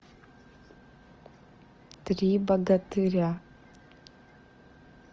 три богатыря